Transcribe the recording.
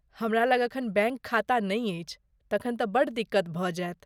हमरा लग एखन बैङ्क खाता नै अछि, तखन तँ बड़ दिक्क्त भऽ जायत।